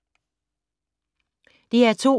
DR2